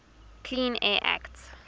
clean air act